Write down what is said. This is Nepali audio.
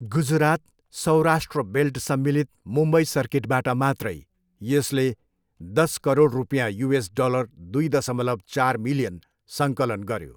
गुजरात, सौराष्ट्र बेल्ट सम्मिलित मुम्बई सर्किटबाट मात्रै यसले दस करोड रुपियाँ, युएस डलर दुई दसमलव चार मिलियन, सङ्कलन गर्यो।